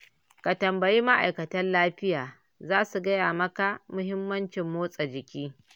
Ka tambayi ma'aikatan lafiya za su gaya maka muhimmancin motsa jiki